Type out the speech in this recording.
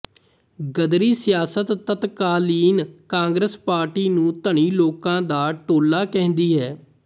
ਗ਼ਦਰੀ ਸਿਆਸਤ ਤਤਕਾਲੀਨ ਕਾਂਗਰਸ ਪਾਰਟੀ ਨੂੰ ਧਨੀ ਲੋਕਾਂ ਦਾ ਟੋਲਾ ਕਹਿੰਦੀ ਹੈ